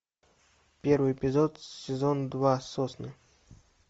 первый эпизод сезон два сосны